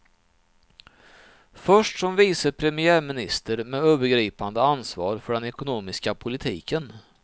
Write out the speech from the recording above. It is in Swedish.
Först som vice premiäminister med övergripande ansvar för den ekonomiska politiken.